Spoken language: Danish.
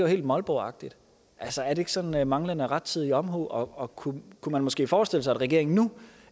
helt molboagtigt altså er det ikke sådan manglende rettidig omhu og og kunne man måske forestille sig at regeringen nu